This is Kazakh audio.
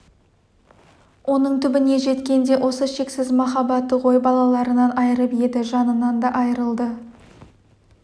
оның түбіне жеткен де осы шексіз махаббаты ғой балаларынан айырып еді жанынан да айырылды